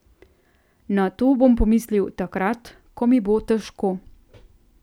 Na to bom pomislil takrat, ko mi bo težko.